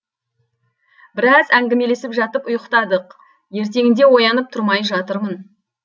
біраз әңгімелесіп жатып ұйықтадық ертеңінде оянып тұрмай жатырмын